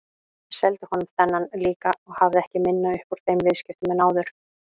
Ég seldi honum þennan líka og hafði ekki minna upp úr þeim viðskiptum en áður.